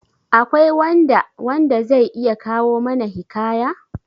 Akwai wanda wanda zai iya kawo mana hikaya?